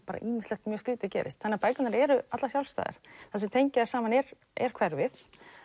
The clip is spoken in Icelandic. ýmislegt mjög skrýtið gerist þannig að bækurnar eru allar sjálfstæðar það sem tengir þær saman er er hverfið